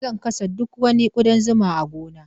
Zan kashe duk wani ƙudan zuma a gona.